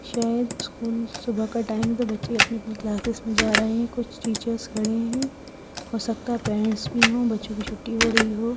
शायद स्कूल सुबह का टाइम तो बच्चे अपनी अपनी क्लासेस में जा रहे हैं कुछ टीचर्स खड़े हैं हो सकता है पेरेंट्स भी हो बच्चों की छूटी हो रही हो।